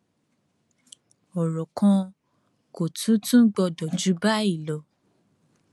ọrọ kan kò tún tún gbọdọ jù báyì lọ